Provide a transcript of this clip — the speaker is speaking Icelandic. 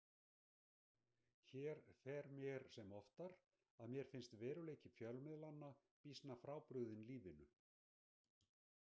Hér fer mér sem oftar að mér finnst veruleiki fjölmiðlanna býsna frábrugðinn lífinu.